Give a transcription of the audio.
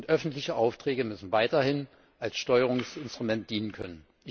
Öffentliche Aufträge müssen weiterhin als Steuerungsinstrument dienen können.